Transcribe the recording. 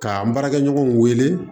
K'an baarakɛ ɲɔgɔnw wele